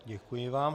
Děkuji vám.